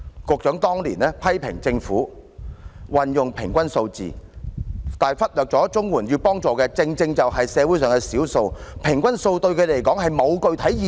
局長當年批評政府採用平均數字，而忽略綜援要幫助的正正是社會上的少數，平均數對他們來說並沒有具體意義。